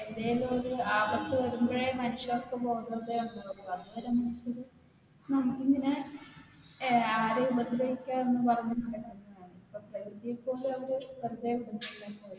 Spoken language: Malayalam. എന്തെങ്കിലും ഒരു ആപത് വരുമ്പോഴേ മനുഷ്യർക്ക് ബോധോദയം ഉണ്ടാവൂള് പിന്നെ